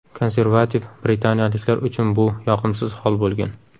Konservativ britaniyaliklar uchun bu yoqimsiz hol bo‘lgan.